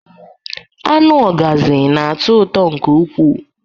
Anụ Ọgazị na-atọ ụtọ nke ukwuu